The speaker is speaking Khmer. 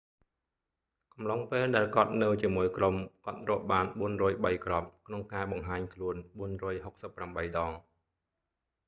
កំឡុងពេលដែលគាត់នៅជាមួយក្រុម គាត់រកបាន 403 គ្រាប់ ក្នុងការបង្ហាញខ្លួន 468 ដង